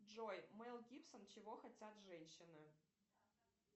джой мел гибсон чего хотят женщины